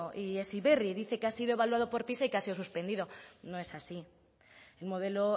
y heziberri dice que ha sido evaluado por pisa y que ha sido suspendido no es así el modelo